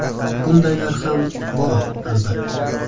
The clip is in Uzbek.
Bundaylar ham bor, albatta.